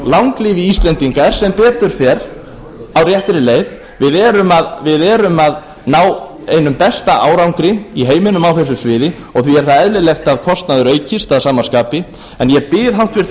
langlífi íslendinga er sem betur fer á réttri leið við erum að ná einum besta árangri í heiminum á þessu sviði því er það eðlilegt að kostnaður aukist að sama skapi en ég bið háttvirta